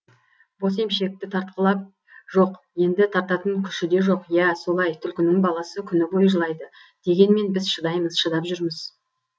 бос емшекті тартқылап жоқ енді тартатын күші де жоқ иә солай түлкінің баласы күні бойы жылайды дегенмен біз шыдаймыз шыдап жүрміз